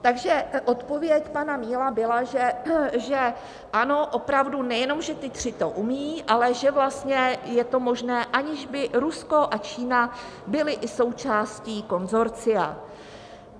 Takže odpověď pana Míla byla, že ano, opravdu, nejenom že ti tři to umějí, ale že vlastně je to možné, aniž by Rusko a Čína byly i součástí konsorcia.